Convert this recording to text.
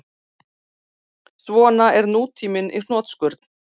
Svona er nútíminn í hnotskurn